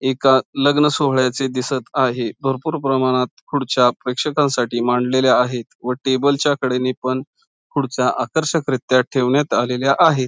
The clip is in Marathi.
एका लग्न सोहळ्याचे दिसत आहे भरपूर प्रमाणात खुर्च्या प्रेक्षकांसाठी मांडलेल्या आहेत व टेबलच्या कडेने पण खुर्च्या आकर्षकरीत्या ठेवण्यात आलेल्या आहे.